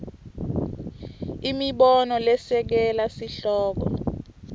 imibono lesekela sihloko